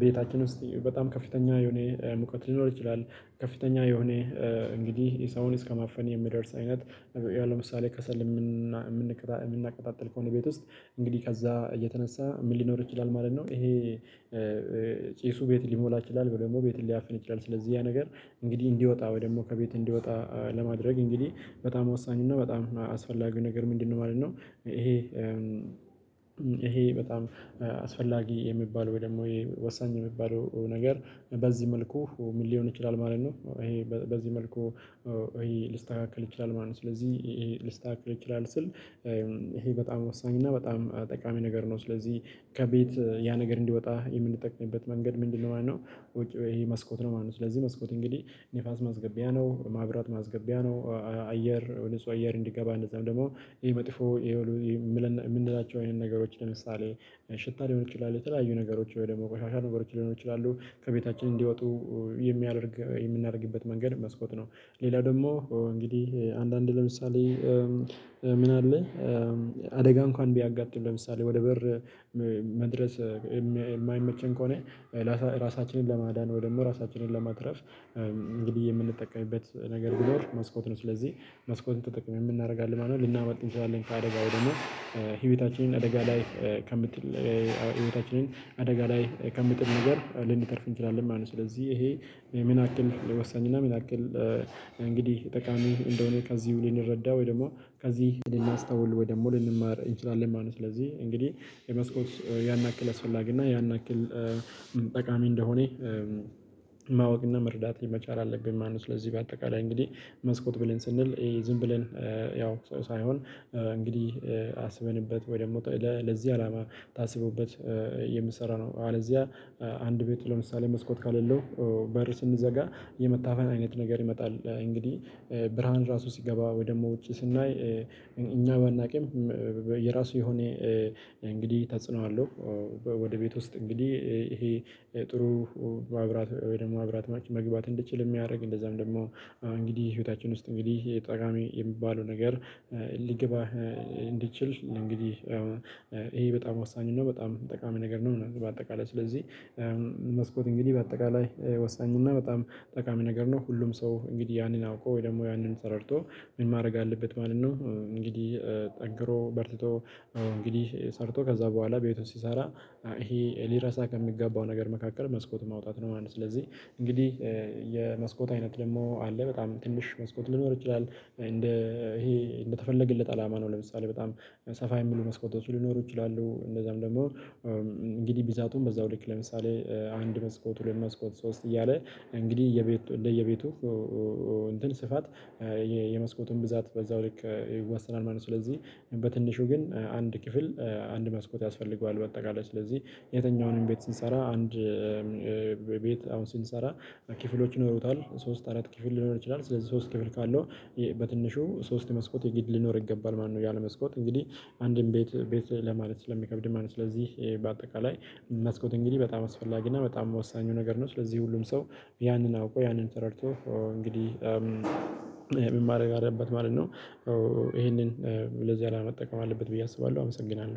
ቤታችን ውስጥ በጣም ከፍተኛ የሆነ ሙቀት ሊኖር ይችላል ከፍተኛ የሆነ እንግዲህ የሰውን እስከማፈን የሚደርስ አይነት ያለው ምሳሌ ከሰል። እምናቀጣጥል ከሆነ ቤት ውስጥ እንግዲህ ከዛ እየተነሳ ምን ሊኖር ይችላል ማለት ነው። ይሄ ጪሱ ቤት ሊሞላ ይችላል ወይም ደግሞ ቤት ሊያፍን ይችላል ስለዚህ ያ ነገር እንግዲህ እንዲወጣ ወይ ደግሞ ከቤት እንዲወጣ ለማድረግ እንግዲህ በጣም ወሳኝ እና በጣም አስፈላጊው ነገር ምንድነው ማለት ነው? ይሄ ይሄ በጣም አስፈላጊ የሚባል ወይ ደግሞ ወሳኝ የሚባለው ነገር በዚህ መልኩ ምን ሊሆን ይችላል ማለት ነው። ይሄ በዚህ መልኩ ሊስተካከል ይችላል ማለት ነው። ስለዚህ ሊስተካከል ይችላል ስል ይሄ በጣም ወሳኝና እና በጣም ጠቃሚ ነገር ነው። ስለዚህ ከቤት ያ ነገር እንዲወጣ የምንጠቅመበት መንገድ ምንድነው ማለት ነው? ይሄ መስኮት ነው ማለት ነው። ስለዚህ መስኮት እንግዲህ ንፋስ ማስገቢያ ነው ማብራት ማስገቢያ ነው። አየር ያው ንጹህ አየር እንዲገባ እንደዛም ደግሞ ይሄ መጥፎ ይሄ የምንላቸው አይነት ነገሮች ለምሳሌ ሽታ ሊሆን ይችላል የተለያዩ ነገሮች ወይም ደግሞ ቆሻሻ ነገሮች ሊሆን ይችላሉ ከቤታችን እንዲወጡ የሚያደርግ የምናደርግበት መንገድ መስኮት ነው። ሌላ ደግሞ እንግዲህ አንዳንዴ ለምሳሌ ምን አለ አደጋ እንኳን ቢያጋጥም ለምሳሌ ወደ በር መድረስ እማይመቸን ከሆነ ራሳችንን ለማዳን ወይ ደግሞ ራሳችንን ለማትረፍ እንግዲህ የምንጠቀምበት ነገር ቢኖር መስኮት ነው። ስለዚህ መስኮትን ተጠቅመን ምን እናደርጋለን ማለትነው? ልናመልጥ እንችላለን ከአደጋው ደግሞ አደጋ ላይ ከምንጥል ህይወታችንን አደጋ ላይ ከሚጥል ነገር ልንተርፍ እንችላለን ማለት ነው። ስለዚህ ይሄ ምን ያክል ወሳኝና ምን ያክል እንግዲህ ጠቃሚው እንደሆነ ከዚህ ልንረዳ ወይም ደግሞ ከዚህ ልናስተውል ወይ ደግሞ ልንማር እንችላለን ማለት ነው። ስለዚህ እንግዲህ የመስኮት ያን ያክል አስፈላጊ እና ያን ያክል ጠቃሚ እንደሆነ ማወቅና መርዳት መቻል አለብነ ማለት ነው። ስለዚህ በአጠቃላይ እንግዲህ መስኮት ብለን ስንል ዝም ብለን ያው ሳይሆን እንግዲህ አስበንበት ወይ ደግሞ ለዚህ አላማ ታስቦበት የሚሰራ ነው። አለዚያ አንድ ቤት ለምሳሌ መስኮት ከሌለው በር ስንዘጋ የመታፈን አይነት ነገር ይመጣል። እንግዲህ ብርሃን ራሱ ሲገባ ወይ ደግሞ ውጪ ስናይ እኛ ባናውቅም የራሱ የሆነ እንግዲህ ተጽኖ አለው። ወደ ቤት ውስጥ እንግዲህ ይሄ ጥሩ መብራት ወይ ደግሞ መብራት መግባት እንዲችል እሚያደርግ እንደዛም ደግሞ እንግዲህ ህይወታችን ውስጥ እንግዲህ ጠቃሚ የሚባለው ነገር ሊገባ እንዲችል እንግዲህ ይሄ በጣም ወሳኝ ነው በጣም ጠቃሚ ነገር ነው። በአጠቃላይ ስለዚህ መስኮት እንግዲህ በአጠቃላይ ወሳኝ እና በጣም ጠቃሚ ነገር ነው። ሁሉም ሰው እንግዲህ ያንን አውቆ ወይ ደግሞ ያንን ተረድቶ ምን ማድረግ አለበት ማለት ነው። እንግዲህ ጠግሮ በርትቶ እንግዲህ ሰርቶ ከዛ በኋላ ቤቱን ሲሰራ ይሄ ሊረሳ ከሚገባው ነገር መካከል መስኮት ማውጣት ነው ማለት ነው። ስለዚህ እንግዲህ የመስኮት አይነት ደግሞ አለ በጣም ትንሽ መስኮት ሊኖር ይችላል ይሄ እንደተፈለገለት አላማ ነው። ለምሳሌ በጣም ሰፋ የሚሉ መስኮቶች ሊኖሩ ይችላሉ። እንደዛም ደግሞ እንግዲህ ብዛቱን በዛው ልክ ለምሳሌ አንድ መስኮት ሁለት መስኮት ሶስት እያለ እንግዲህ የቤቱ እንደየቤቱ እንትን ስፋት የመስኮቱን ብዛት በዛው ልክ ይወሰናል ማለት ነው። ስለዚህ በትንሹ ግን አንድ ክፍል አንድ መስኮት ያስፈልገዋል። በአጠቃላይ ስለዚህ የትኛውንም ቤት ስንሰራ አንድ ቤት አሁን ስንሰራ ክፍሎች ይኖሩታል። ሶስት አራት ክፍል ሊኖር ይችላል ስለዚህ ሶስት ክፍል ካለው በትንሹ ሶስት መስኮት የግድ ሊኖር ይገባል ማለት ነው። ያለመስኮት እንግዲህ አንድም ቤት ቤት ለማለት ስለሚከብድ ማለት ነው። ስለዚህ በአጠቃላይ መስኮት እንግዲህ በጣም አስፈላጊ እና በጣም ወሳኙ ነገር ነው። ስለዚህ ሁሉም ሰው ያንን አውቆ ያንን ተረድቶ እንግዲህ ምን ማረግ አለበት ማለት ነው። ይሄንን ለዚህ አላማ መጠቀም አለበት ብዬ አስባለሁ አመሰግናለሁ